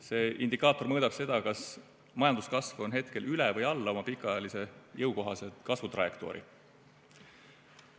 See indikaator mõõdab seda, kas majanduskasv on hetkel üle või alla oma pikaajalise jõukohase kasvutrajektoori.